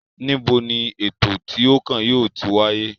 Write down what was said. Níbo ni ètò tí ó kàn yóò ti wáyé?